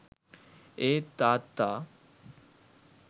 ඒත් තාත්තා